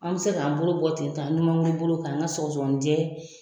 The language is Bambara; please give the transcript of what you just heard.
An bɛ se k'an bolo bɔ ten tɔ an numanŋuru bolo k'an ka sɔgɔsɔgɔnijɛ